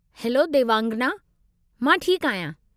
Hello Devangana! मां ठीकु आहियां।